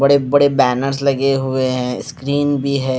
बड़े-बड़े बैनर्स लगे हुए हैं स्क्रीन भी है।